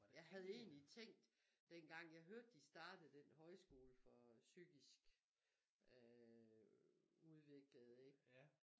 Jeg havde egentlig tænkt dengang jeg hørte de startede den højskole for psykisk øh udviklede ikke